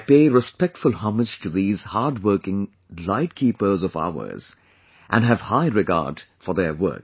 I pay respectful homage to these hard workinglight keepers of ours and have high regard for their work